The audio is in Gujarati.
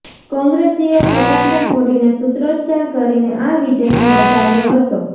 કોંગ્રેસીઓ ફટાકડા ફોડીને સૂત્રોચ્ચાર કરીને આ વિજયને વધાવ્યો હતો